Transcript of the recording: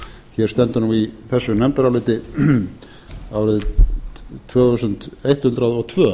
hér stendur nú í þessu nefndaráliti árið tvö þúsund hundrað og tvö